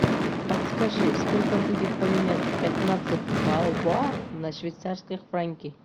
подскажи сколько будет поменять пятнадцать бальбоа на швейцарские франки